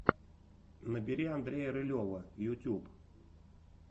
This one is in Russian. набери андрея рылева ютюб